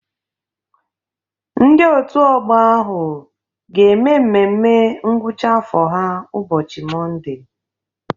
Ndị òtù ọgbọ ahụ ga-eme mmemme ngwụcha afọ ha ụbọchị Mọnde.